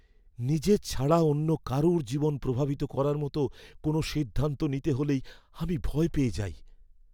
নিজের ছাড়া অন্য কারুর জীবন প্রভাবিত করার মতো কোনও সিদ্ধান্ত নিতে হলেই আমি ভয় পেয়ে যাই।